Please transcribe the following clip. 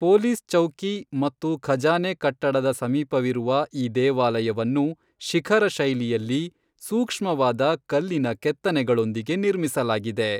Police ಚೌಕಿ ಮತ್ತು ಖಜಾನೆ ಕಟ್ಟಡದ ಸಮೀಪವಿರುವ ಈ ದೇವಾಲಯವನ್ನು ಶಿಖರ ಶೈಲಿಯಲ್ಲಿ, ಸೂಕ್ಷ್ಮವಾದ ಕಲ್ಲಿನ ಕೆತ್ತನೆಗಳೊಂದಿಗೆ ನಿರ್ಮಿಸಲಾಗಿದೆ.